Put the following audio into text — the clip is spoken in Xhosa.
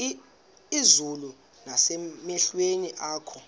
izulu nasemehlweni akho